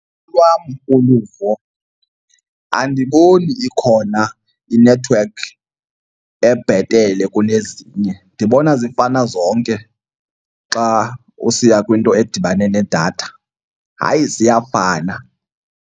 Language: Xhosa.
Olwam uluvo andiboni ikhona inethiwekhi ebhetele kunezinye ndibona zifana zonke xa usiya kwinto edibane nedatha. Hayi, ziyafana.